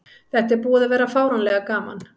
Þetta er búið að vera fáránlega gaman.